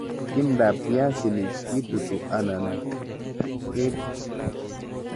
Timdab piasinik kitutu alan kebit.